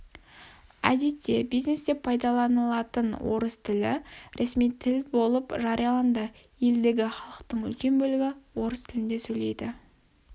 әдетте бизнесте пайдаланылатын орыс тілі ресми тіл болып жарияланды елдегі халықтың үлкен бөлігі орыс тілінде сөйлейді